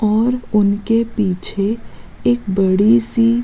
और उनके पीछे एक बड़ी-सी।